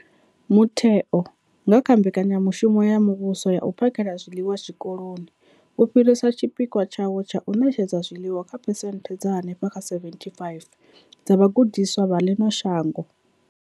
Mutheo, nga kha Mbekanya mushumo ya Muvhuso ya U phakhela zwiḽiwa Zwikoloni, wo fhirisa tshipikwa tshawo tsha u ṋetshedza zwiḽiwa kha phesenthe dza henefha kha 75 dza vhagudiswa vha ḽino shango.